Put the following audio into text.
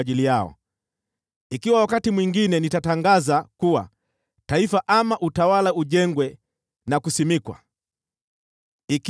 Ikiwa wakati mwingine nitatangaza kuwa taifa ama utawala ujengwe na kuwekwa wakfu,